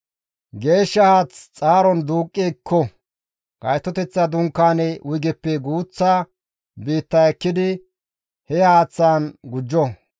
Geeshsha haath xaaron duuqqi ekko; Gaytoteththa Dunkaane wuygeppe guuththa biitta ekkidi he haaththaan gujjo.